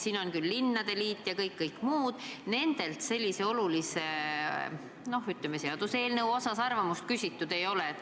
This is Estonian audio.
Siin on küll linnade liit ja muud, aga keskkonnakaitsjatelt selle olulise seaduseelnõu kohta arvamust küsitud ei ole.